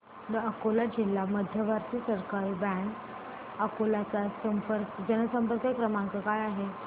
दि अकोला जिल्हा मध्यवर्ती सहकारी बँक अकोला चा जनसंपर्क क्रमांक काय आहे